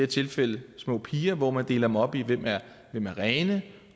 tilfælde små piger hvor man deler dem op i hvem der er rene